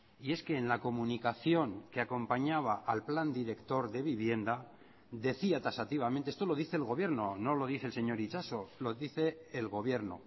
y es que en la comunicación que acompañaba al plan director de vivienda decía taxativamente esto lo dice el gobierno no lo dice el señor itxaso lo dice el gobierno